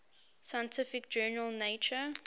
scientific journal nature